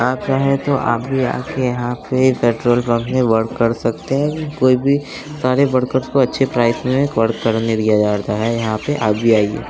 आप चाहें तो आप भी आ के यहां पे पेट्रोल पंप पे वर्क कर सकते हैं कोई भी सारे वर्कर्स को अच्छे प्राइस में वर्क करने दिया जाता है यहां पे आप भी आइए।